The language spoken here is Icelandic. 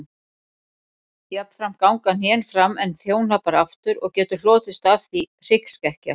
Jafnframt ganga hné fram en þjóhnappar aftur og getur hlotist af því hryggskekkja.